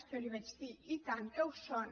jo li vaig dir i tant que ho són